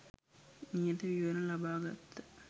නියත විවරණ ලබා ගත්හ.